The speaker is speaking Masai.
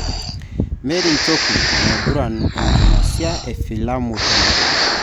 Mary njoku, naiguran enkingasia e filamu te Nigeria.